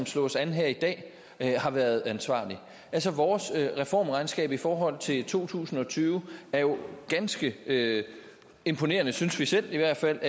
slås an her i dag har været ansvarlig altså vores reformregnskab i forhold til to tusind og tyve er jo ganske imponerende synes vi selv i hvert fald